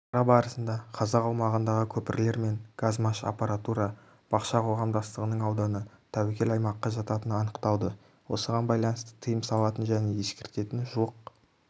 шара барысында қазақ аумағындағы көпірлер мен газмашаппаратура бақша қоғамдастығының ауданы тәуекел аймаққа жататыны анықталды осыған байланысты тыйым салатын және ескертетін жуық